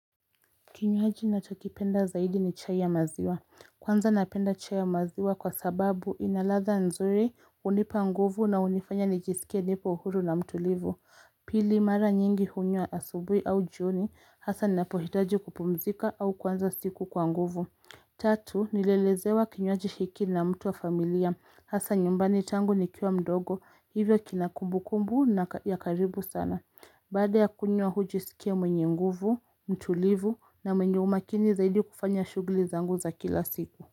Kinywaji ninachokipenda zaidi ni chai ya maziwa. Kwanza napenda chai ya maziwa kwa sababu inaladha nzuri hunipa nguvu na hunifanya nijisikie nipo huru na mtulivu. Pili mara nyingi hunywa asubuhi au jioni hasa ninapohitaji kupumzika au kuanza siku kwa nguvu. Tatu nilelezewa kinywaji hiki na mtu wa familia hasa nyumbani tangu nikiwa mdogo hivyo kinakumbu kumbu ya karibu sana. Baada ya kunywa hujisikia mwenye nguvu, mtulivu na mwenye umakini zaidi kufanya shughuli zangu za kila siku.